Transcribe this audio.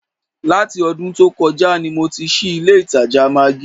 Láti ọdún tó kọjá ni mo ti ṣí ilé ìtajà maggí